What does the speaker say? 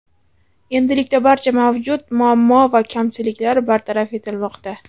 Endilikda barcha mavjud muammo va kamchiliklar bartaraf etilmoqda.